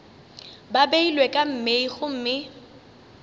ba beilwe ka mei gomme